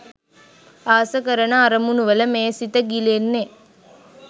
ආස කරන අරමුණුවල මේ සිත ගිලෙන්නෙ